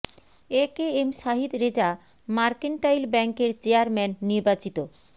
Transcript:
এ K M Sahid Reza mercantile ব্যাংকের chairman নির্বাচিত